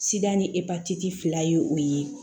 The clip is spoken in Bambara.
ni epatiti fila ye o ye